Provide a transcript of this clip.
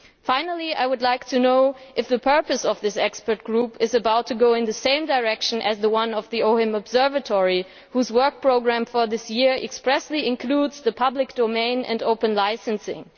Finally, I would like to know if the purpose of this expert group is about to go in the same direction as that of the OHIM Observatory, whose work programme for this year expressly includes the public domain and open licensing.